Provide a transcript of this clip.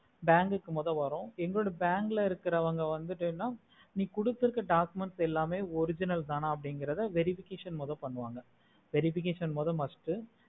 bank கு மொத வரும் எங்களோட bank ல இருக்குறவங்க வந்துட்டேனா நீ குடுதுர்கா documents எல்லாமே original தான அபுடிங்கிறது verification மொத பண்ணுவாங்க verification மொத must